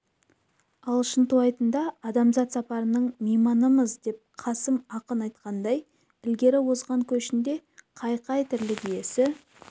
ал шынтуайтында адамзат сапарының мейманымыз деп қасым ақын айтқандай ілгері озған көшінде қай-қай тірлік иесі